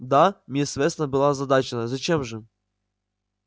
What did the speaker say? да миссис вестон была озадачена зачем же